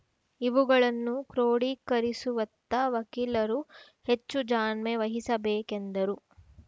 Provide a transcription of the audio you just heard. ಇವುಗಳನ್ನು ಕ್ರೋಡಿಕರಿಸುವತ್ತ ವಕೀಲರು ಹೆಚ್ಚು ಜಾಣ್ಮೆ ವಹಿಸಬೇಕೆಂದರು